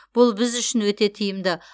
бұл біз үшін өте тиімді